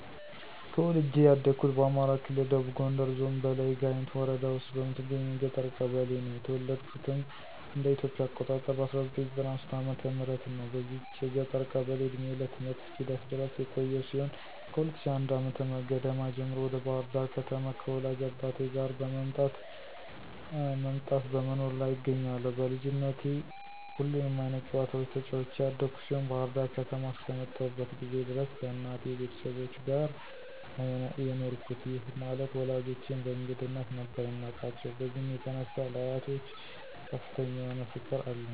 ተወልጄ ያደኩት በአማራ ክልል ደቡብ ጎንደር ዞን በላይ ጋይንት ወረዳ ውስጥ በምትገኝ የገጠር ቀበሌ ነው። የተወለድኩትም እንደ ኢትዮጵያ አቆጣጠር በ1993 ዓ/ም ነው። በዚች የገጠር ቀበሌ እድሜዬ ለትምህርት እስኪደርስ ድረስ የቆየው ሲሆን ከ2001 ዓ/ም ገደማ ጀምሮ ወደ ባህር ዳር ከተማ ከወላጅ አባቴ ጋር መምጣት በመኖር ላይ እገኛለሁ። በልጅነቴ ሁሉንም አይነት ጨዋታዎች ተጫዉቼ ያደኩ ሲሆን ባህር ዳር ከተማ አስከመጣሁበት ጊዜ ድረስ ከእናቴ ቤተሰቦች ጋር ነው የኖርኩት፤ ይህ ማለት ወላጆቼን በእንግድነት ነበር የማቃቸው። በዚህም የተነሳ ለአያቶች ከፍተኛ የሆነ ፍቅር አለኝ።